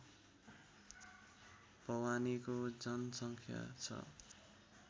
भवानीको जनसङ्ख्या छ